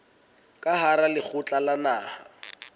ka hara lekgotla la naha